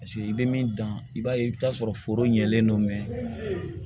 Paseke i bɛ min dan i b'a ye i bɛ t'a sɔrɔ foro ɲɛlen don mɛ